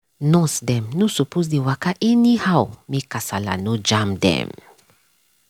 nurse dem no suppose dey waka anyhow make kasala no jam dem.